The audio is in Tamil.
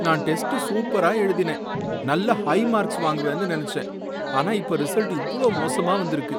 நான் டெஸ்ட் சூப்பரா எழுதினேன், நல்ல ஹை மார்க்ஸ் வாங்குவேன்னு நினைச்சேன், ஆனா இப்ப ரிசல்ட் இவ்ளோ மோசமா வந்திருக்கு.